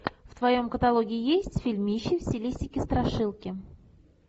в твоем каталоге есть фильмище в стилистике страшилки